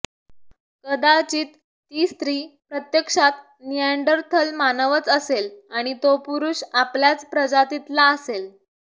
कदाचित ती स्त्री प्रत्यक्षात निअँडरथल मानवच असेल आणि तो पुरुष आपल्याच प्रजातीतला असेल